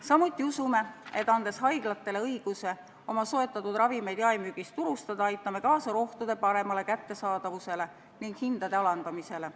Samuti usume, et andes haiglatele õiguse oma soetatud ravimeid jaemüügis turustada, aitame kaasa rohtude paremale kättesaadavusele ning hindade alandamisele.